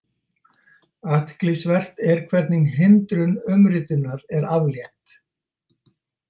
Athyglisvert er hvernig hindrun umritunar er aflétt.